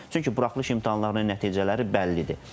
Çünki buraxılış imtahanlarının nəticələri bəllidir.